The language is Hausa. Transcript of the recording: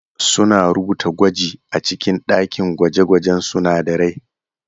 Suna rubuta gwaji a cikin ɗakin gwaje-gwajen sunadarai.